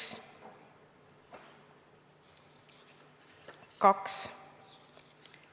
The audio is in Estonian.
Austatud Riigikogu!